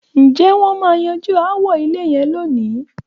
Ǹjẹ́ wọ́n máa yanjú aáwọ ilẹ̀ yẹn lónìí?